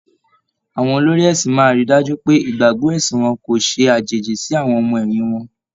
Àwọn olórí ẹ̀sin máa ríi dájú pé ìgbàgbọ́ ẹ̀sìn wọn kò ṣe àjèjì sí àwọn ọmọ ẹ̀yìn wọn.